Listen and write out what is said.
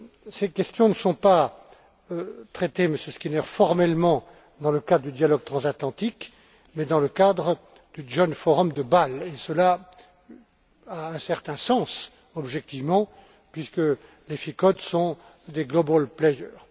Ces questions ne sont pas traitées, Monsieur Skinner, formellement dans le cadre du dialogue transatlantique, mais dans le cadre du Joint Forum de Bâle, et cela a un certain sens, objectivement, puisque les FICOD sont des global players